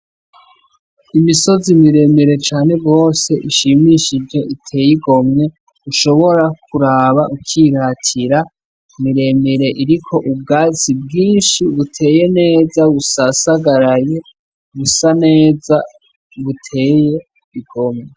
Imisozi miremire cane gose ishimishije iteye igomwe, ushobora kuraba ukiratira miremire iriko ubwatsi bwinshi buteye neza busasagaraye busa neza buteye igomwe.